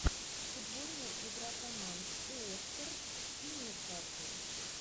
футбольная игра команд уотфорд и нью касл